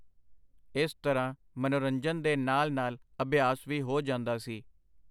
ਇਸ ਤਰ੍ਹਾਂ ਮਨੋਰੰਜ਼ਨ ਦੇ ਨਾਲ ਨਾਲ ਅਭਿਆਸ ਵੀ ਹੋ ਜਾਂਦਾ ਸੀ.